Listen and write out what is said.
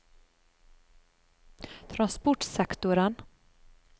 transportsektoren